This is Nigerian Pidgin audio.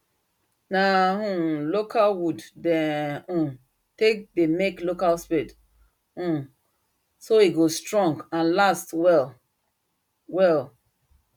na um local wood them um take they make local spade um so e go strong and last well well